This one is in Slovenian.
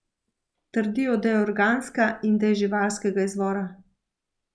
Trdijo, da je organska in da je živalskega izvora.